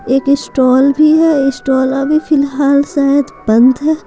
एक स्टॉल भी है स्टॉल अभी फिलहाल शायद बंद है।